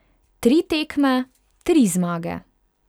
Tri tekme, tri zmage.